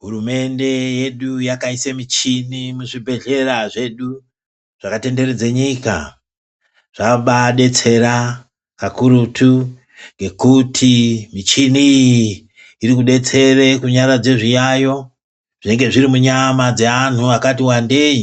Hurumende yedu yakaisa michini muzvibhedhlera medu zvakatenderedza nyika zvabaadetsera kakurutu ngekuti michini iyi irikudetsera kunyaradza zviyaeyo zvinenge zviri munyama dzeanthu akati wandei,